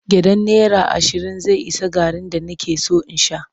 Gyaɗan naira ashirin zai ishe garri da nake son in sha.